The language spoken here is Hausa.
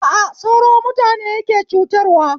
A a sauro mutane yake cutarwa